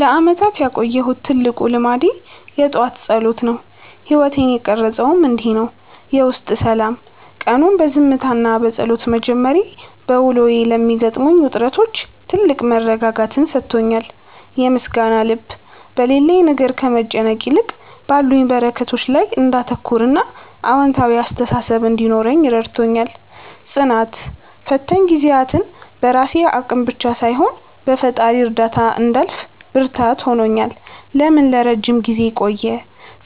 ለዓመታት ያቆየሁት ትልቁ ልማዴ የጠዋት ጸሎት ነው። ሕይወቴን የቀረፀውም እንዲህ ነው፦ የውስጥ ሰላም፦ ቀኑን በዝምታና በጸሎት መጀመሬ፣ በውሎዬ ለሚገጥሙኝ ውጥረቶች ትልቅ መረጋጋትን ሰጥቶኛል። የምስጋና ልብ፦ በሌለኝ ነገር ከመጨነቅ ይልቅ ባሉኝ በረከቶች ላይ እንዳተኩርና አዎንታዊ አስተሳሰብ እንዲኖረኝ ረድቶኛል። ጽናት፦ ፈታኝ ጊዜያትን በራሴ አቅም ብቻ ሳይሆን በፈጣሪ እርዳታ እንዳልፍ ብርታት ሆኖኛል። ለምን ለረጅም ጊዜ ቆየ?